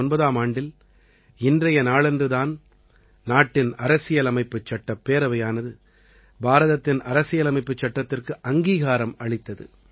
1949ஆம் ஆண்டில் இன்றைய நாளன்று தான் நாட்டின் அரசியலமைப்புச் சட்டப் பேரவையானது பாரதத்தின் அரசியலமைப்புச் சட்டத்திற்கு அங்கீகாரம் அளித்தது